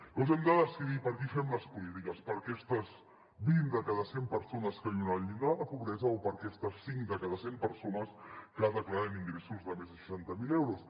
llavors hem de decidir per a qui fem les polítiques per a aquestes vint de cada cent persones que viuen en el llindar de la pobresa o per a aquestes cinc de cada cent persones que declaren ingressos de més de seixanta mil euros